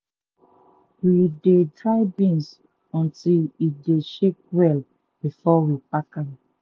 we dey dry beans until e dey shake well before we pack am.